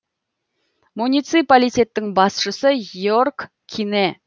муниципалитеттің басшысы йерг кине